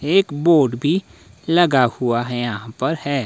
एक बोर्ड भी लगा हुआ है यहां पर है।